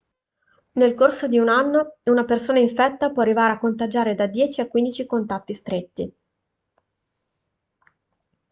nel corso di un anno una persona infetta può arrivare a contagiare da 10 a 15 contatti stretti